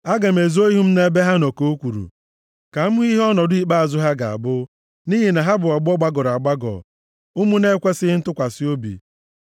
“Aga m ezo ihu m nʼebe ha nọ,” ka o kwuru, “ka m hụ ihe ọnọdụ ikpeazụ ha ga-abụ, nʼihi na ha bụ ọgbọ gbagọrọ agbagọ, ụmụ na-ekwesighị ntụkwasị obi.